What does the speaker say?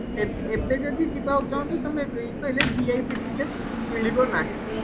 ଏବେ ଏବ ଯଦି ଯିବାକୁ ଚାହୁଁଚ ତମେ କହିଲେ VIP ଟିକେଟ ମିଳିବ ନାହିଁ